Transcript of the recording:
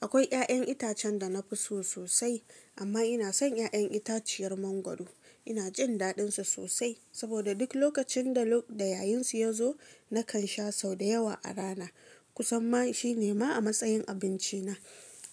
Akwai ya'yan itacen da na fi so sosai, amma ina son ya'yan itaciyar mangwaro. Ina jin daɗinsa sosai, saboda duk lokacin da yayin su ya zo nakan sha sau da yawa a rana. Ku san ma shi ne ma a matsayin abinci na.